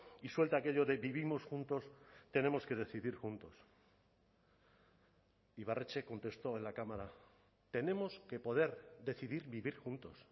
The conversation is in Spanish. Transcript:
y suelta aquello de vivimos juntos tenemos que decidir juntos ibarretxe contestó en la cámara tenemos que poder decidir vivir juntos